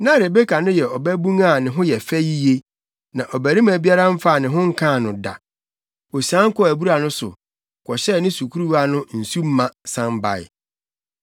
Na Rebeka no yɛ ɔbabun a ne ho yɛ fɛ yiye. Na ɔbarima biara mfaa ne ho nkaa no da. Osian kɔɔ abura no so, kɔhyɛɛ ne sukuruwa no nsu ma, san bae.